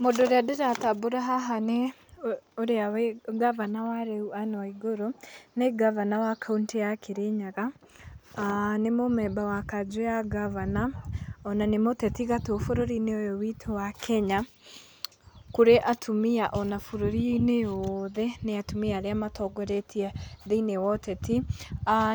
Mũndũ ũrĩa ndĩratambũra haha nĩ gabana wa rĩu gabana Ann Waigũrũ nĩ gabana wa kauntĩ ya Kĩrĩnyaga nĩ mũmemba wa kanjo ya gabana ona nĩ mũteti gatũ bũrũri-inĩ ũyũ witũ wa kenya kũrĩ atumia ona bũrũri-inĩ wothe nĩ atumia arĩa matongoretie thĩinĩ woteti,